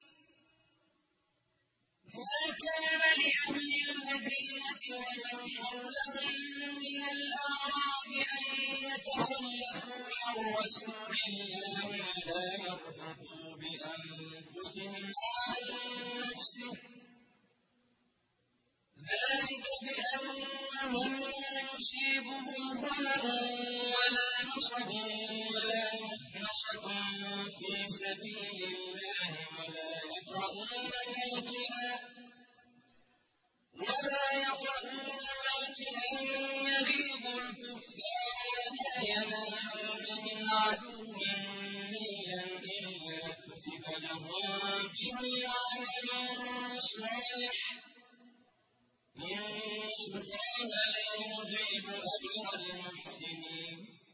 مَا كَانَ لِأَهْلِ الْمَدِينَةِ وَمَنْ حَوْلَهُم مِّنَ الْأَعْرَابِ أَن يَتَخَلَّفُوا عَن رَّسُولِ اللَّهِ وَلَا يَرْغَبُوا بِأَنفُسِهِمْ عَن نَّفْسِهِ ۚ ذَٰلِكَ بِأَنَّهُمْ لَا يُصِيبُهُمْ ظَمَأٌ وَلَا نَصَبٌ وَلَا مَخْمَصَةٌ فِي سَبِيلِ اللَّهِ وَلَا يَطَئُونَ مَوْطِئًا يَغِيظُ الْكُفَّارَ وَلَا يَنَالُونَ مِنْ عَدُوٍّ نَّيْلًا إِلَّا كُتِبَ لَهُم بِهِ عَمَلٌ صَالِحٌ ۚ إِنَّ اللَّهَ لَا يُضِيعُ أَجْرَ الْمُحْسِنِينَ